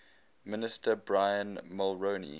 minister brian mulroney